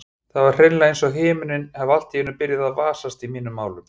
Það var hreinlega einsog himinninn hefði allt í einu byrjað að vasast í mínum málum.